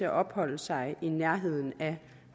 at opholde sig i nærheden af